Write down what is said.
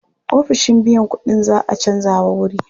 Ofishin biyan kuɗin za a canjawa wuri.